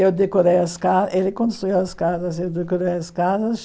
Eu decorei as ca, ele construiu as casas, eu decorei as casas.